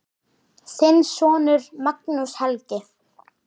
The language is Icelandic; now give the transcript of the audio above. Þinn sonur, Magnús Helgi.